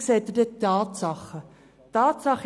Dort sind die Tatsachen ersichtlich.